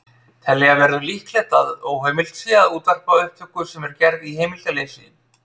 Telja verður líklegt að óheimilt sé að útvarpa upptöku sem er gerð í heimildarleysi.